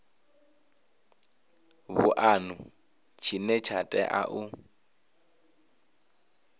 vhuanu tshine tsha tea u